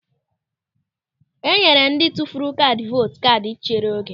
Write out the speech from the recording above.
E nyere ndị tụfuru kaadị vootu kaadị nchere oge.